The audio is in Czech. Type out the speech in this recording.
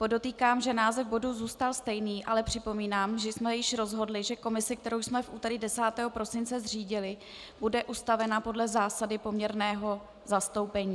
Podotýkám, že název bodu zůstal stejný, ale připomínám, že jsme již rozhodli, že komise, kterou jsme v úterý 10. prosince zřídili, bude ustavena podle zásady poměrného zastoupení.